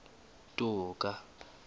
toka